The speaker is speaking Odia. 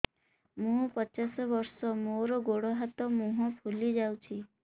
ମୁ ପଚାଶ ବର୍ଷ ମୋର ଗୋଡ ହାତ ମୁହଁ ଫୁଲି ଯାଉଛି